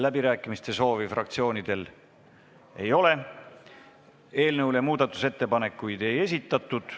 Läbirääkimiste soovi fraktsioonidel ei ole, eelnõu kohta muudatusettepanekuid ei esitatud.